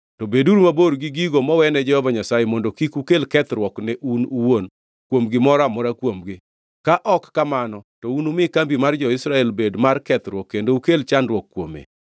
To beduru mabor gi gigo mowene Jehova Nyasaye, mondo kik ukel kethruok ne un uwuon kuom gimoro amora kuomgi. Ka ok kamano to unumi kambi mar jo-Israel bed mar kethruok kendo ukel chandruok kuome.